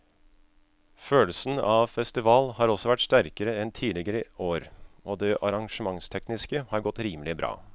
Følelsen av festival har også vært sterkere enn tidligere år og det arrangementstekniske har godt rimelig bra.